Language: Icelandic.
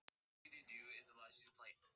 Það var eins og Lúlli væri gleðivana og gamall.